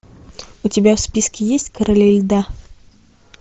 у тебя в списке есть короли льда